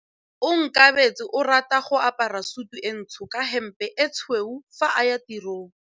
Onkabetse o rata go apara sutu e ntsho ka hempe e tshweu fa a ya tirong.